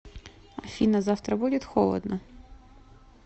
афина завтра будет холодно